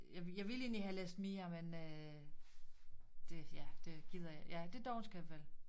Jeg jeg ville egentlig have læst mere men øh det ja det gider jeg ja det dovenskab vel